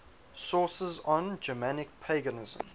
sources on germanic paganism